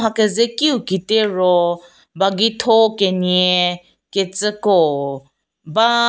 mha keze kiu ketie ro bagi tho kenie kecii ko ba.